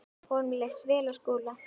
Honum leist vel á Skúla.